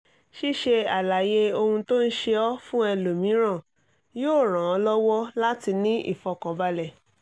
ṣíṣe àlàyé ohun tó ń ṣe ọ́ fún ẹlòmíràn yóò ràn ọ́ lọ́wọ́ láti ní ìfọ̀kànbalẹ̀